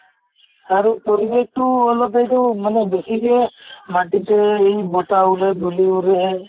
আৰু পৰিবেশ টো অলপ এইটো মানে বেছিকে মাটিতে এই বতাহ উৰে ধুলি উৰে